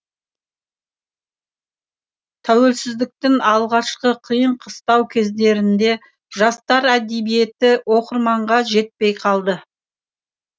тәуелсіздіктің алғашқы қиын қыстау кездерінде жастар әдебиеті оқырманға жетпей қалды